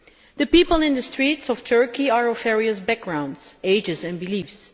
The people in the streets of Turkey are of various backgrounds, ages and beliefs.